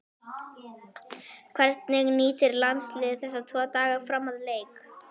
Hvernig nýtir landsliðið þessa tvo daga fram að leik?